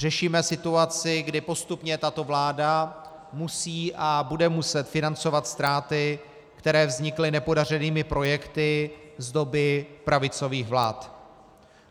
Řešíme situaci, kdy postupně tato vláda musí a bude muset financovat ztráty, které vznikly nepodařenými projekty z doby pravicových vlád.